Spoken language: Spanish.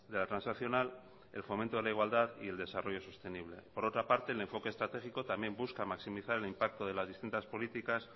la transaccional el fomento de la igualdad y el desarrollo sostenible por otra parte el enfoque estratégico también busca maximizar el impacto de las distintas políticas